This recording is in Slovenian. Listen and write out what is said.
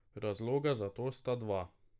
Razloga za to sta dva.